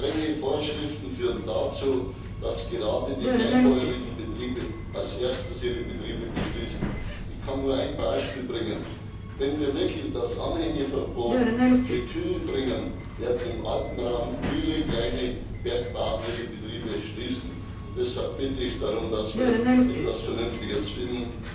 Strenge Vorschriften führen dazu, dass gerade die kleinbäuerlichen Betriebe als Erste ihre Betriebe schließen. Ich kann nur ein Beispiel bringen Wenn wir wirklich das Anhängeverbot für Kühe bringen, werden im Alpenraum viele kleine Bergbauern ihre Betriebe schließen. Deshalb bitte ich darum, dass wir etwas Vernünftiges finden.